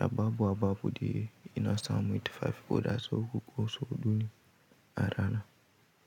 Ababu a babu de ina samu tufafi ko da so uku ko so huɗu a rana.